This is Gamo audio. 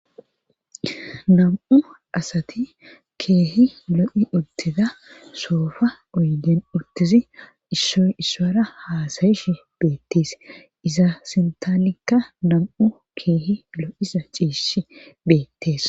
nam7u asati keehi lo7i uttida soofa uyden urtizi issoy issora haasayish beettees iza sintalikka nam7u keehi lo7isa ciishi beettees